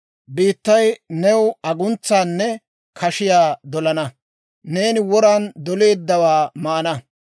Biittay new aguntsaanne kashiyaa dolana; neeni woran doleeddawaa maana.